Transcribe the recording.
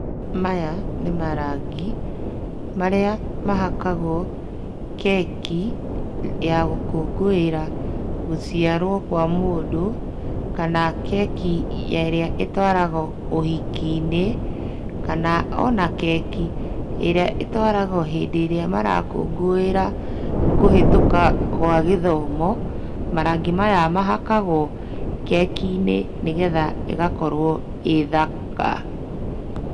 Maya nĩ marangi marĩa mahakagwo keki ya gũkũĩngĩra gũciarwo kwa mũndũ, kana keki ĩrĩa ĩtwaragwo ũhikinĩ, kana ona keki ĩrĩa ĩtwaragwo hĩndĩ ĩrĩa marakũngũĩra kũhĩtũka gwa gĩthomo. Marangi maya mahakagwo kekinĩ nĩgetha ĩgakorwo ĩ thaka.